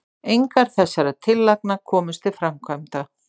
engar þessara tillagna komust til framkvæmda